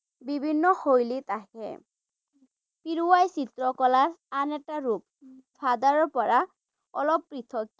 বিভিন্ন শৈলীত আহে ৷ কিৰুৱাই চিত্ৰ কলা আন এটা ৰূপ চাদাৰৰ পৰা অলপ পৃথক ৷